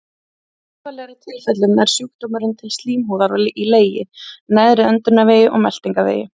Í alvarlegri tilfellum nær sjúkdómurinn til slímhúðar í legi, neðri öndunarvegi og meltingarvegi.